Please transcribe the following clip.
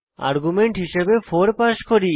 argument হিসাবে 4 pass করি